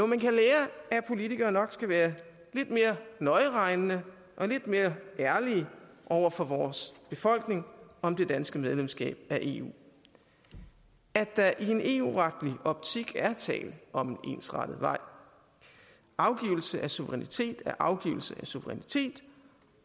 man kan lære at politikere nok skal være lidt mere nøjeregnende og lidt mere ærlige over for vores befolkning om det danske medlemskab af eu og at der i en eu retlig optik er tale om en ensrettet vej afgivelse af suverænitet er afgivelse af suverænitet